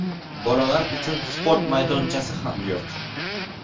Bolalar uchun sport maydonchasi ham yo‘q.